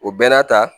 O bɛɛ n'a ta